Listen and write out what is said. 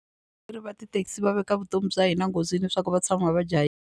va tithekisi va veka vutomi bya hina enghozini leswaku va tshama va .